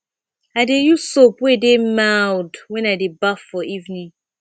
i dey use soap wey dey mild wen i dey baff for evening